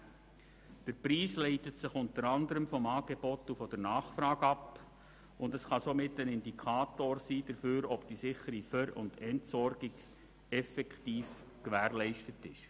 Der Preis leitet sich unter anderem von Angebot und Nachfrage ab und kann somit ein Indikator dafür sein, ob die sichere Ver- und Entsorgung effektiv gewährleistet ist.